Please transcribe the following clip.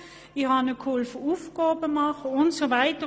Ich habe sie bei den Hausaufgaben unterstützt und so weiter.